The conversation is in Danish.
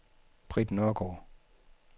Britt Nørgaard